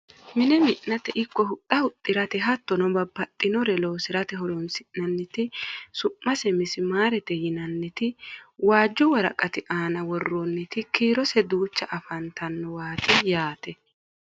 mine mi'nate ikko huxxa huxxirate hattono babbaxxinore loosate horonsi'nanniti su'mase misimaarete yinanniti waajju woraqati aana worroonniti kiirose duucha afantannowaati yaati